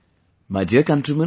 My dear countrymen,